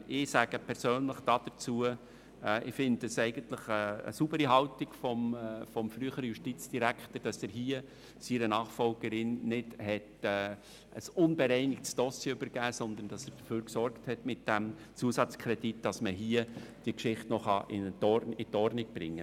Ich persönlich halte es für eine saubere Haltung des früheren Justizdirektors, dass er seiner Nachfolgerin nicht ein unbereinigtes Dossier übergeben, sondern mit diesem Zusatzkredit dafür gesorgt hat, dass diese Geschichte noch in Ordnung gebracht werden kann.